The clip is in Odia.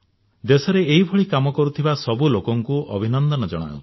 ଦେଶରେ ଏଇଭଳି କାମ କରୁଥିବା ସବୁ ଲୋକଙ୍କୁ ଅଭିନନ୍ଦନ ଜଣାଉଛି